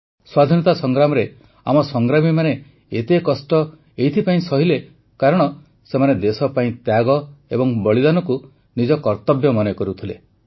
ସ୍ୱାଧୀନତା ସଂଗ୍ରାମରେ ଆମ ସଂଗ୍ରାମୀମାନେ ଏତେ କଷ୍ଟ ଏଥିପାଇଁ ସହିଲେ କାରଣ ସେମାନେ ଦେଶ ପାଇଁ ତ୍ୟାଗ ଏବଂ ବଳିଦାନକୁ ନିଜ କର୍ତବ୍ୟ ମନେ କରୁଥିଲେ